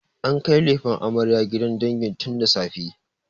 An kai lefen amaryar gidan dangi tun da safe.